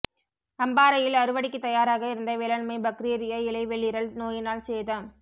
அம்பாறையில் அறுவடைக்கு தயாராக இருந்த வேளாண்மை பக்றீரியா இலைவெளிறல் நோயினால் சேதம்